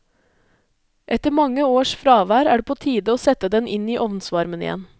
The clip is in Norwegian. Etter mange års fravær er det på tide å sette den inn i ovnsvarmen igjen.